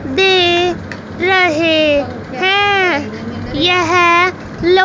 दे रहे हैं यह लो--